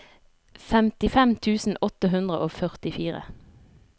femtifem tusen åtte hundre og førtifire